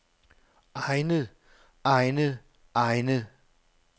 egnet egnet egnet